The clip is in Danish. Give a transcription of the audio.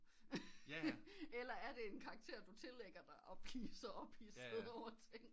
Eller er det en karakter du tillægger dig og bliver så ophidset over ting